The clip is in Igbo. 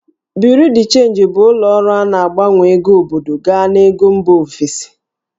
Bureau de change' bụ ụlọ ọrụ a na-agbanwe ego obodo gaa n'ego mba ofesi